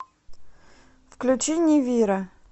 включи нивиро